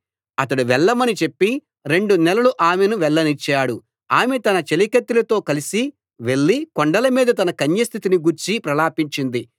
అతడు వెళ్ళమని చెప్పి రెండు నెలలు ఆమెను వెళ్ళనిచ్చాడు ఆమె తన చెలికత్తెలతో కలిసి వెళ్లి కొండల మీద తన కన్యస్థితిని గూర్చి ప్రలాపించింది